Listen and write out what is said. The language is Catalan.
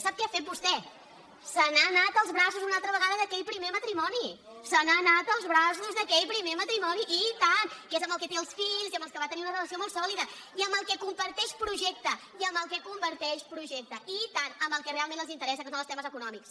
sap què ha fet vostè ços una altra vegada d’aquell primer matrimoni se n’ha anat als braços d’aquell primer matrimoni i tant que és amb el que té els fills i amb el que va tenir una relació molt sòlida i amb el que comparteix pro·jecte i amb el que comparteix projecte i tant amb el que realment els interessa que són els temes eco·nòmics